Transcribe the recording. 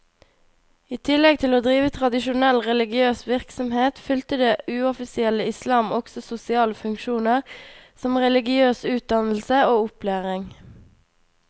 I tillegg til å drive tradisjonell religiøs virksomhet, fylte det uoffisielle islam også sosiale funksjoner som religiøs utdannelse og opplæring.